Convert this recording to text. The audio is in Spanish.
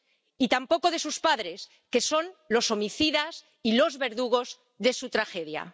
Y tampoco de sus padres, que son los homicidas y los verdugos de su tragedia.